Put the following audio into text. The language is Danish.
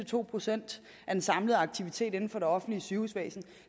to procent af den samlede aktivitet inden for det offentlige sygehusvæsen